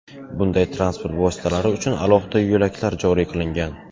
Bunday transport vositalari uchun alohida yo‘laklar joriy qilingan.